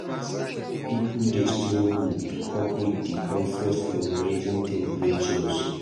Pipo dey struggle to cope with di discomfort from rising temperatures.